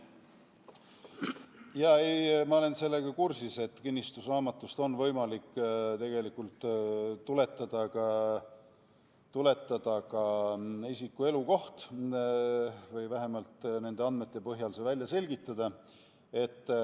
Jaa, ma olen sellega kursis, et kinnistusraamatust on võimalik tegelikult tuletada ka isiku elukoht või vähemalt nende andmete põhjal see välja selgitada.